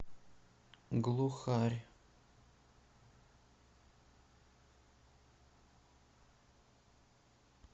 глухарь